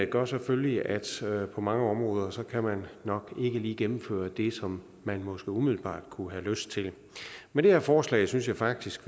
gør selvfølgelig at på mange områder kan man nok ikke lige gennemføre det som man måske umiddelbart kunne have lyst til med det her forslag synes jeg faktisk